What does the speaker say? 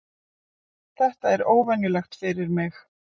Þetta er óvenjulegt fyrir mig.